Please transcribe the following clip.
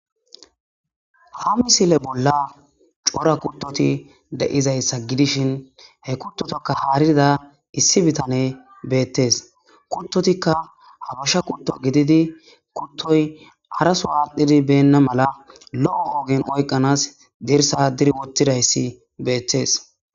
Ha misile bolla cora kuttoti de'izayssa gidishin he kuttotakka haarida issi bitane beettes kuttotikka habasha kutto gididi kuttoy arasuaadhidi benna mala lo'o hoogen oyqanas dirsa diri wottidayssi beettes.